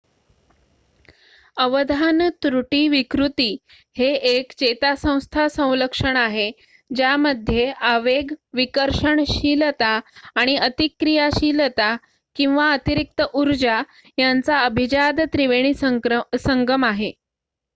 अवधान त्रुटी विकृती हे एक चेतासंस्था संलक्षण आहे ज्यामध्ये आवेग विकर्षणशीलता आणि अतिक्रिया शीलता किंवा अतिरिक्त उर्जा यांचा अभिजात त्रिवेणी संगम आहे